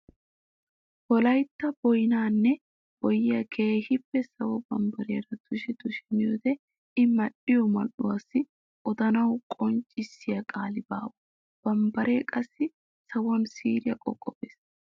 Wolaytta boynnanne boyyiya keehippe sawo bambbariyan tushi tushi miyoode i mali'iyo mali'uwaa odanawu qonccissiya qaali baawa! Bambbare qassi sawuwan siiriya qooqoppes!